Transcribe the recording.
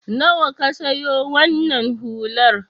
Nawa ka siyo wannan hular?